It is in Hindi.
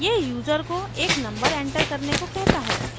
यह यूजर को एक नंबर एंटर करने को कहता है